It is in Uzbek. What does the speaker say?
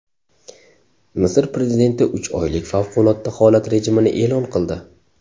Misr prezidenti uch oylik favqulodda holat rejimini e’lon qildi.